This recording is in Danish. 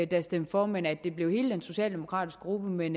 der stemte for men at det blev hele den socialdemokratiske gruppe men